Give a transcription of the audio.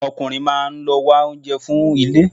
Ọkùnrin máa lọ ń wá oúnjẹ wá fún ilé.